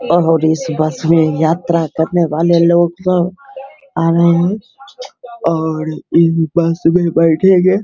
और इस बस में यात्रा करने वाले लोग सब आ रहे हैं और इस बस में बैठेंगे |